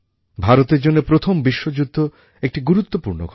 ভারতের জন্যে প্রথম বিশ্বযুদ্ধ একটি গুরুত্বপূর্ণ ঘটনা